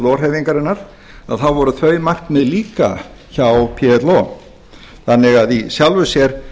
plo hreyfingarinnar þá voru þau markmið líka hjá plo þannig að í sjálfu sér